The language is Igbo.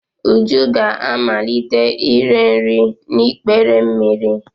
Uju ga-amalite ire nri n'ikpere mmiri.